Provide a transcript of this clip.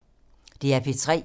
DR P3